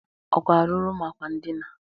Ọ ga-arụrụ m akwa ndịna?